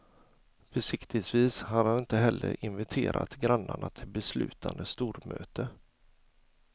Försiktigtvis har han inte heller inviterat grannarna till beslutande stormöte.